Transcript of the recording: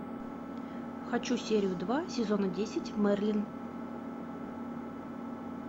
хочу серию два сезона десять мерлин